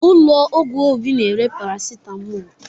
Ụlọ ọgwụ Obi na-ere paracetamol